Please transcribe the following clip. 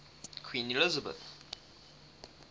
queen elizabeth